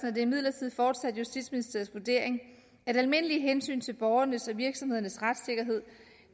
er det imidlertid fortsat justitsministeriets vurdering at almindelige hensyn til borgernes og virksomhedernes retssikkerhed